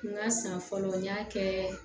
N ka san fɔlɔ n y'a kɛ